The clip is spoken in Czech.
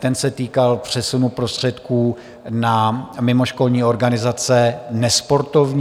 Ten se týkal přesunu prostředků na mimoškolní organizace nesportovní.